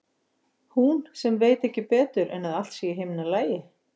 Hún sem veit ekki betur en að allt sé í himnalagi.